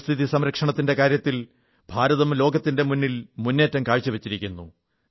പരിസ്ഥിതി സംരക്ഷണത്തിന്റെ കാര്യത്തിൽ ഭാരതം ലോകത്തിന്റെ മുന്നിൽ മുന്നേറ്റം കാഴ്ചവച്ചിരിക്കുന്നു